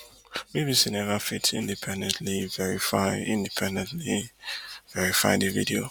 bbc neva fit independently verify independently verify di video